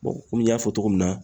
komi n y'a fɔ cogo min na